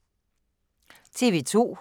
TV 2